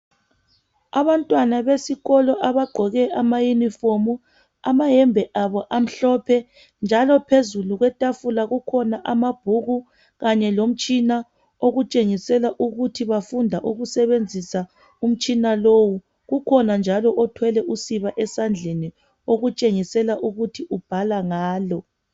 Abantwana besikolo abagqoke amayunifomu, amayembe abo amhlophe njalo phezulu kwetafula kukhona amabhuku kanye lomtshina okutshengisela ukuthi bafunda ukusebenzisa umtshina lowu, kukhona njalo othwele usiba esandleni okutshengisela ukuba ubhala ngalo.